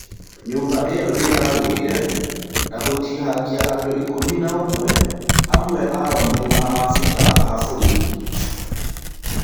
Nyũmba ĩo nĩ yagũire na gũtihangia andũikũmi na ũmwe , amwe ao me maabithaa a borithi.